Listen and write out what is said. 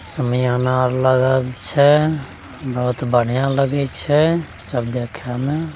शमियाना आर लागल छै बहुत बढ़िया लगे छै सब देखे में।